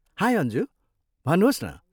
High Anju! भन्नुहोस् न।